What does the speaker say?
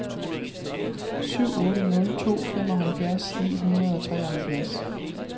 syv otte nul to femoghalvfjerds ni hundrede og treoghalvfjerds